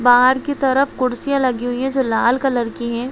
बाहर की तरफ कुर्सियां लगी हुई है जो लाल कलर की है।